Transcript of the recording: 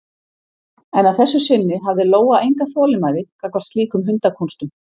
En að þessu sinni hafði Lóa enga þolinmæði gagnvart slíkum hundakúnstum.